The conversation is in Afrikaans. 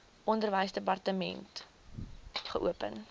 onderwysdepartement wkod geopen